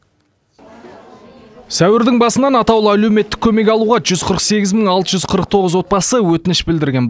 сәуірдің басынан атаулы әлеуметтік көмек алуға жүз қырық сегіз мың алты жүз қырық тоғыз отбасы өтініш білдірген